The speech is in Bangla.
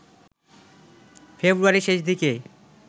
ফেব্রুয়ারির শেষদিকে